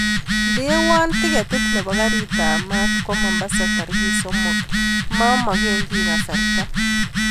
Ndewan tiketit nebo karit ab maat kwo mombasa tarikit somok mamagen kiy kasarta